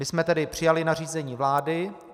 My jsme tedy přijali nařízení vlády.